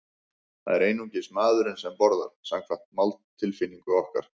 Það er einungis maðurinn sem borðar, samkvæmt máltilfinningu okkar.